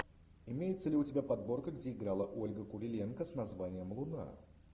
имеется ли у тебя подборка где играла ольга куриленко с названием луна